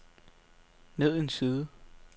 ned en side